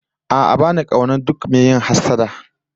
A'a ba ni kaunar duk mai yin hassada